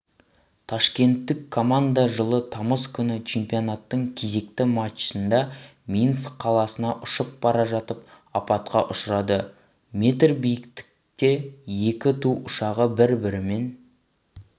ташкенттік команда жылы тамыз күні чемпионатының кезекті матчында минск қаласына ұшып бара жатып апатқа ұшырады метр биіктікте екі ту ұшағы бір-бірімен